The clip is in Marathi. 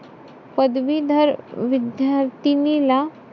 पदवीधर विद्यार्थिनीला,